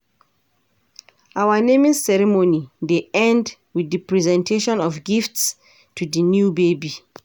Our naming ceremony dey end with di presentation of gifts to di new baby.